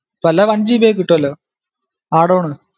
ഇപ്പൊല്ല onegb ആയ് കിട്ടുഅല്ലോ add on